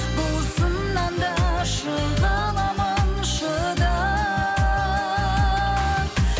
бұл сыннан да шыға аламын шыдап